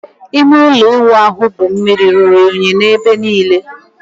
Ime ụlọ ịwụ ahụ bụ mmiri ruru unyi n'ebe niile.